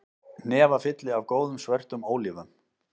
Hnefafylli af góðum, svörtum ólífum